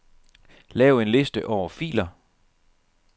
Lav en liste over filer.